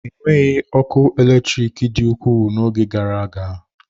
Enweghị ọkụ eletrik dị ukwuu n'oge gara aga.